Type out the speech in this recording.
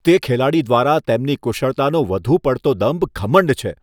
તે ખેલાડી દ્વારા તેમની કુશળતાનો વધુ પડતો દંભ ઘમંડ છે.